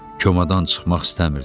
Komadan çıxmaq istəmirdi.